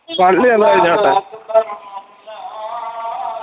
പള്ളി ഒന്ന് കഴിഞ്ഞോട്ടെ